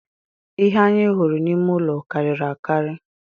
Ihe anyị hụrụ n’ime ụlọ karịrị akarị